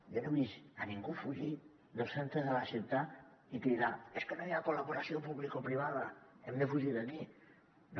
jo no he vist ningú fugir del centre de la ciutat i cridar és que no hi ha col·laboració publicoprivada hem de fugir d’aquí no